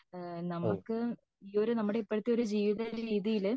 നമുക് ഈ ഒരു നമ്മുടെ ഇപ്പോഴത്തെ ഒരു ജീവിത രീതിയിൽ